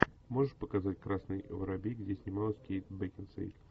можешь показать красный воробей где снималась кейт бекинсейл